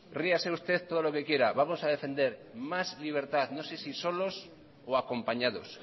ríase usted todo lo que quiera vamos a defender más libertad no sé si solos o acompañados